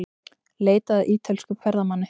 Leitað að ítölskum ferðamanni